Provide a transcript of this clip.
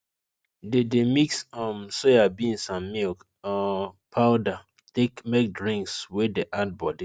they dey mix um soyabeans and milk um powder take make drinks wey de add body